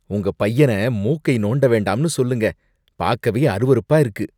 உங்க பையன மூக்கை நோண்ட வேண்டாம்னு சொல்லுங்க, பாக்கவே அருவருப்பா இருக்கு.